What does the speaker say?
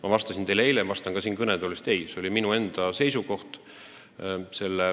Ma vastasin teile eile ja vastan ka siit kõnetoolist: ei, see oli minu enda seisukoht.